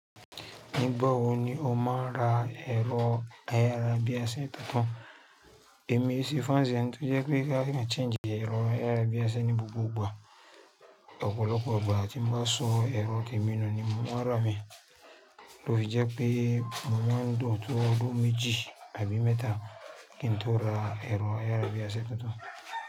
Nígbà wo ni o máa ń ra ẹ̀rọ ayárabíàṣá tuntun? Èmi sì ò kín se fáǹsì ẹni tó jẹ́ pé bóyá ó lè change ẹ̀rọ ayárabíàṣá ní gbogbo ìgbà. Ọ̀pọ̀lọpọ̀ ìgbà tí mo bá so ẹ̀rọ témi nù ni mo máa rà á mi. Lo fi jẹ́ pé mo má ń lò tó odún méjì àbí mẹ́ta kí n tó ra ẹ̀rọ ayárabíàṣá tuntun.